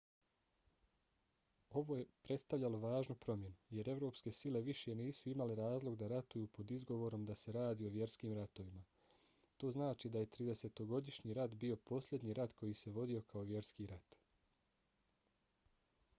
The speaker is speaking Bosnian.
ovo je prestavljalo važnu promjenu jer evropske sile više nisu imale razlog da ratuju pod izgovorom da se radi o vjerskim ratovima. to znači da je tridesetogodišnji rat bio posljednji rat koji se vodio kao vjerski rat